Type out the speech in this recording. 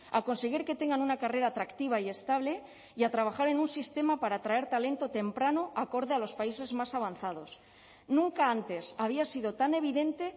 a conseguir que tengan una carrera atractiva y estable y a trabajar en un sistema para atraer talento temprano acorde a los países más avanzados nunca antes había sido tan evidente